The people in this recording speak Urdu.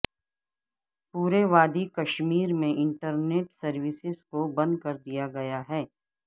پورے وادی کشمیر میں انٹرنیٹ سروسز کو بند کر دیا گیا ہے